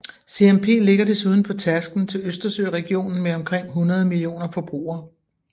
CMP ligger desuden på tærsklen til Østersøregionen med omkring 100 millioner forbrugere